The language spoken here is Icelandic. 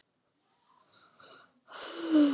Þeyttu smjörið í annarri skál.